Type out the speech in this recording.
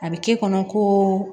A bɛ k'e kɔnɔ ko